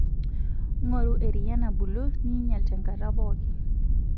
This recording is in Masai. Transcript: Ng'oru eriyia nabulu ninyial tenkata pookin.